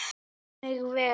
Bera mig vel?